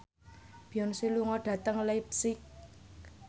Beyonce lunga dhateng leipzig